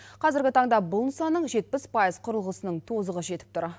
қазіргі таңда бұл нысанның жетпіс пайыз құрылғысының тозығы жетіп тұр